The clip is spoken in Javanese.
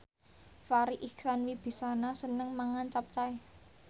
Farri Icksan Wibisana seneng mangan capcay